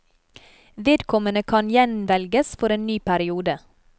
Vedkommende kan gjenvelges for en ny periode.